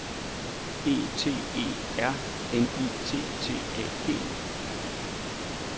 E T E R N I T T A G